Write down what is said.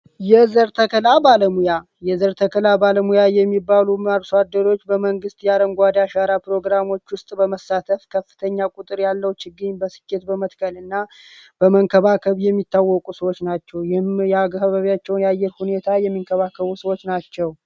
የዘር ተከላ ባለሙያ የዘር ተከላ ባለሙያ የሚባሉ አርሷደሮች በመንግሥት የአረንጓደ አሻራ ፕሮግራሞች ውስጥ በመሳተፍ ከፍተኛ ቁጥር ያለው ችግኝ በስኬት በመትከል እና በመንከባከብ የሚታወቁ ሰዎች ናቸው። ይህም የአካባቢቸውን የአየር ሁኔታ የሚንከባከቡ ሰዎች ናቸው።